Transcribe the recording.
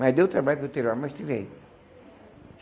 Mas deu trabalho para eu tirar, mas tirei.